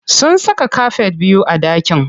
Sun saka kafet biyu a ɗakin.